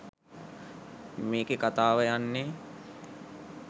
මේකේ කතාව යන්නේ